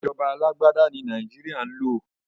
Ìjọba alágbádá ní Nàìjéríà ń lò.